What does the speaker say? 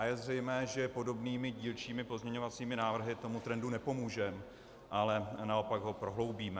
A je zřejmé, že podobnými dílčími pozměňovacími návrhy tomu trendu nepomůžeme, ale naopak ho prohloubíme.